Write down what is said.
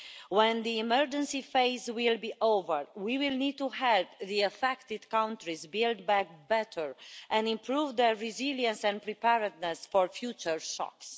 When the emergency phase is over we will need to help the affected countries build back better and improve their resilience and preparedness for future shocks.